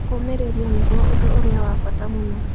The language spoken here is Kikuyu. Kũũmĩrĩria nĩguo ũndũ ũrĩa wa bata mũno.